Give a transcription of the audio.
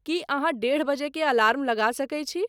की अहाँडेढ़ बजे के अलार्म लगा सके छी